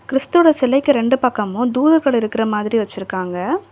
கிறிஸ்த்துவ சிலைக்கு ரெண்டு பக்கமும் தூதர்கள் இருக்கற மாதிரி வச்சிருக்காங்க.